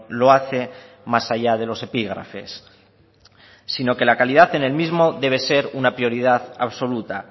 lo hace más allá de los epígrafes sino que la calidad en el mismo debe ser una prioridad absoluta